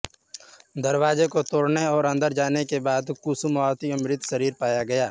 दरवाजे को तोड़ने और अंदर जाने के बाद कुसुमावती का मृत शरीर पाया गया